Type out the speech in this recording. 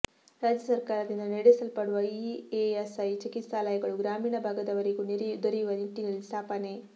ರಾಜ್ಯ ಸರ್ಕಾರದಿಂದ ನೆಡೆಸಲ್ಪಡುವ ಇಎಸ್ಐ ಚಿಕಿತ್ಸಾಲಯಗಳು ಗ್ರಾಮೀಣ ಭಾಗದವರಿಗೂ ದೊರೆಯುವ ನಿಟ್ಟಿನಲ್ಲಿ ಸ್ಥಾಪನೆ